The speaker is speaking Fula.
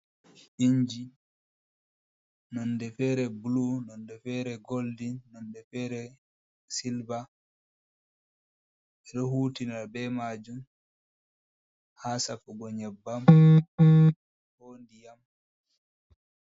Injii nonde fere bulu, nonde fere goldin, nonde fere silva ɓeɗo hutinira be majum ha safugo nyebbam ko ndiyam.